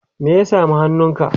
me ya sami hannunka?